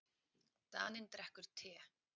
Daninn drekkur te.